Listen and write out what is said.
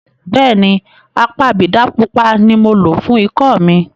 Bẹ́ẹ̀ni, apabidà pupa ni mo lo fún ikọ́ mi.